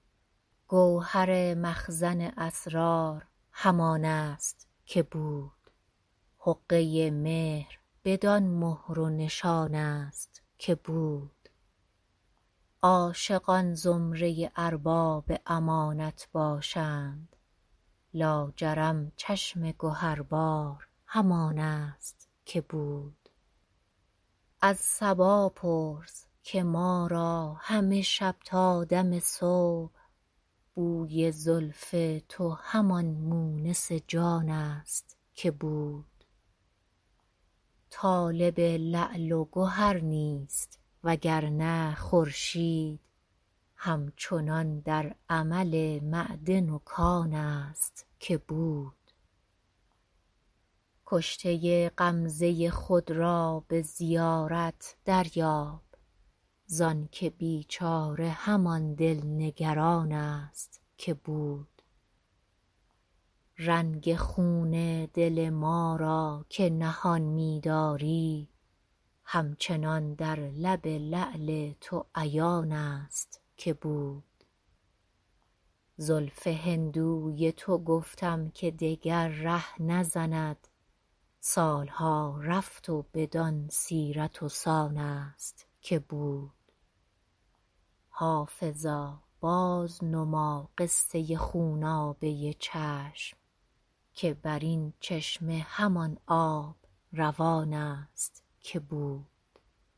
گوهر مخزن اسرار همان است که بود حقه مهر بدان مهر و نشان است که بود عاشقان زمره ارباب امانت باشند لاجرم چشم گهربار همان است که بود از صبا پرس که ما را همه شب تا دم صبح بوی زلف تو همان مونس جان است که بود طالب لعل و گهر نیست وگرنه خورشید هم چنان در عمل معدن و کان است که بود کشته غمزه خود را به زیارت دریاب زانکه بیچاره همان دل نگران است که بود رنگ خون دل ما را که نهان می داری همچنان در لب لعل تو عیان است که بود زلف هندوی تو گفتم که دگر ره نزند سال ها رفت و بدان سیرت و سان است که بود حافظا بازنما قصه خونابه چشم که بر این چشمه همان آب روان است که بود